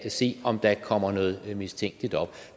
se om der kommer noget mistænkeligt op og